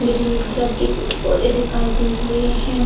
Green colour के पेड़-पौधे दिखाई दे रहे हैं।